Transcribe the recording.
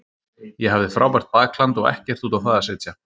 Ég hafði frábært bakland og ekkert út á það að setja.